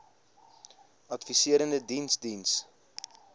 adviserende diens diens